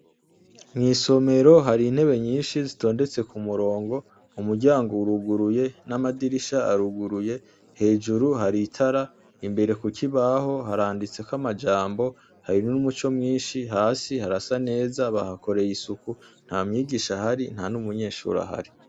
Mw'isomero hari intebe nyinshi zitondetse ku murongo umuryango wuruguruye n'amadirisha aruguruye hejuru haritara imbere kukibaho haranditseko amajambo harin n'umuco mwinshi hasi harasa neza bahakoreye isuku nta myigisha hari nta n'umunyeshuri hari.